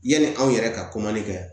Yanni anw yɛrɛ ka kɛ